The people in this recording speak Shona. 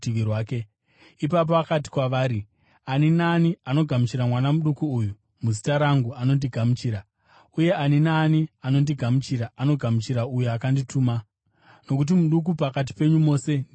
Ipapo akati kwavari, “Ani naani anogamuchira mwana muduku uyu muzita rangu anondigamuchira; uye ani naani anondigamuchira, anogamuchira uyo akandituma. Nokuti muduku pakati penyu mose ndiye mukuru.”